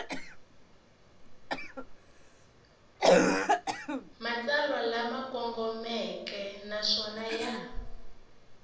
matsalwa lama kongomeke naswona ya